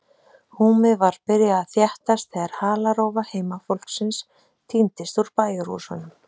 Húmið var byrjað að þéttast þegar halarófa heimafólksins tíndist úr bæjarhúsunum.